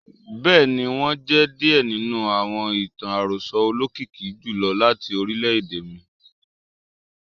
Bẹ́ẹ̀ ni, wọ́n jẹ́ díẹ̀ nínú àwọn ìtàn àròsọ olókìkí jùlọ láti orílẹ̀-èdè mi.